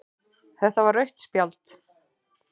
Þetta var rautt spjald.